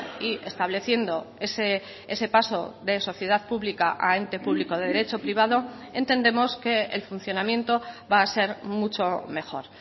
y estableciendo ese paso de sociedad pública a ente público de derecho privado entendemos que el funcionamiento va a ser mucho mejor